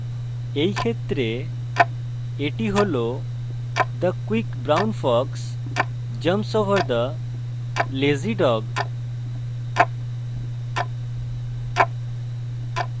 in ক্ষেত্রে the হল the quick brown fox jumps over the lazy dog